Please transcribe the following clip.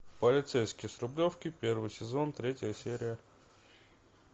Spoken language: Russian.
полицейский с рублевки первый сезон третья серия